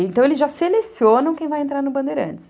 Então, eles já selecionam quem vai entrar no Bandeirantes.